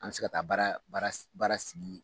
An mɛ se ka taa baara baara baara sigi.